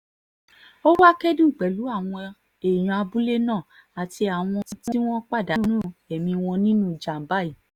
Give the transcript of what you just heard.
ó wàá kẹ́dùn pẹ̀lú àwọn èèyàn abúlé náà àti àwọn tí wọ́n pàdánù ẹ̀mí wọn nínú ìjàm̀bá yìí